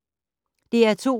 DR2